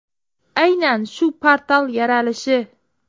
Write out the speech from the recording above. Aynan shu portal yaralishi!